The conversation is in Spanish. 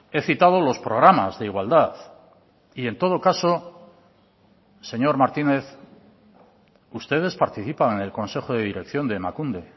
he citado los programas de igualdad y en todo caso señor martínez ustedes participan en el consejo de dirección de emakunde